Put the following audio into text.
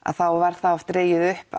var oft dregið upp